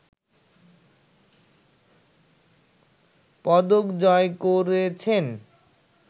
পদক জয় করেছেন